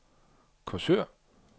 Korsør